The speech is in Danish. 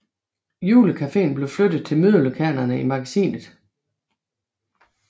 Julecaféen blev flyttet til mødelokalerne i magasinet